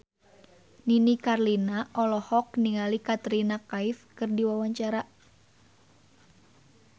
Nini Carlina olohok ningali Katrina Kaif keur diwawancara